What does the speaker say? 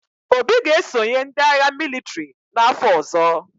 Obi ga-esonye ndị agha mịlịtrị n’afọ ọzọ.